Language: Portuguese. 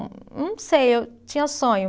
Não sei, eu tinha sonho.